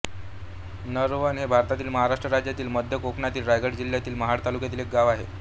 नरवण हे भारतातील महाराष्ट्र राज्यातील मध्य कोकणातील रायगड जिल्ह्यातील महाड तालुक्यातील एक गाव आहे